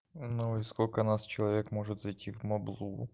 ну и сколько нас человек может зайти в моблу